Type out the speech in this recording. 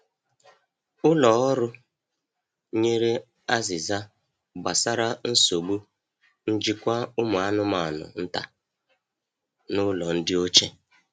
Ụlọ ọrụ ụlọ nyere azịza gbasara nsogbu njikwa ụmụ anụmanụ nta n’ụlọ ndị ochie.